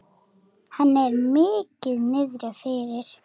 Henni er mikið niðri fyrir.